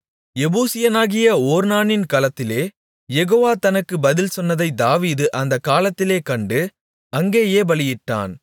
எபூசியனாகிய ஒர்னானின் களத்திலே யெகோவா தனக்கு பதில் சொன்னதை தாவீது அந்த காலத்திலே கண்டு அங்கேயே பலியிட்டான்